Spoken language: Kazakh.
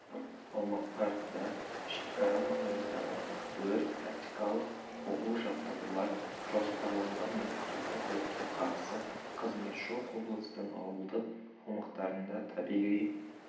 аумақтарында шекара маңындағы өрт-тактикалық оқу-жаттығулар жоспарланған мемлекеттік өртке қарсы қызметі жоқ облыстың ауылдық аумақтарында табиғи